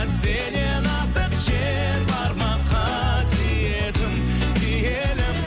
сенен артық жер бар ма қасиетім киелім